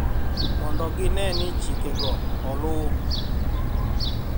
mondo gine ni chikego oluw